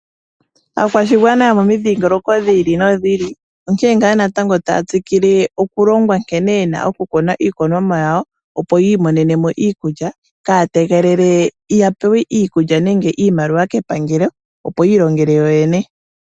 Aakwashigwana yomomidhingoloko dhi ili nodhi ili onkene ngaa natango taya tsikile okulongwa nkene ye na okukuna iikunomwa yawo, opo yi imonene mo iikulya kaaya tegelele ya pewe ikulya nenge iimaliwa kepangelo, opo yi ilongele yoyene.